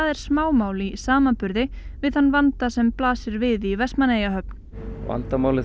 er smámál í samanburði við þann vanda sem blasir við í Vestmannaeyjahöfn vandamálið